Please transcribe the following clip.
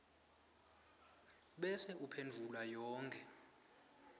bese uphendvula yonkhe